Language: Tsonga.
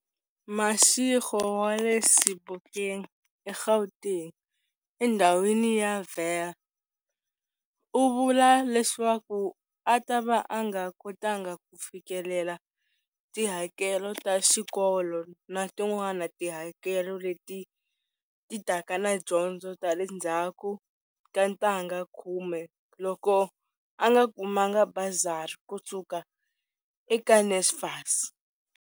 Mashego wa le Sebokeng eGauteng endhawini ya Vaal u vula leswaku a tava a nga kotanga ku fikelela tihakelo ta xikolo na tin'wana tihakelo leti ti taka na dyondzo ta le ndzhaku ka ntangha khume loko a nga kumanga bazari kusuka eka NSFAS.